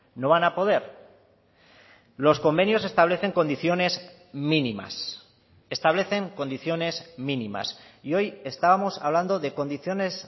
no van a poder los convenios establecen condiciones mínimas establecen condiciones mínimas y hoy estábamos hablando de condiciones